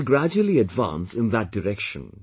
We shall gradually advance in that direction